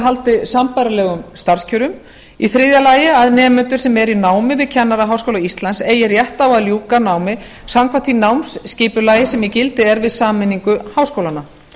haldi sambærilegum starfskjörum þriðja að nemendur sem eru í námi við kennaraháskóla íslands eigi rétt á að ljúka námi samkvæmt því námsskipulagi sem í gildi er við sameiningu háskólanna